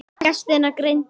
Gestina greindi á.